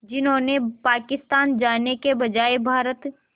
जिन्होंने पाकिस्तान जाने के बजाय भारत